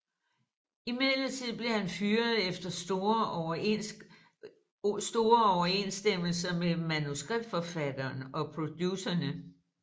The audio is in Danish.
Imidlertid blev han fyret efter store uoverensstemmelser med manuskriptforfatteren og producerne